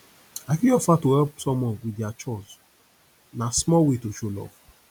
i fit offer to help someone with dia chores na small way to show love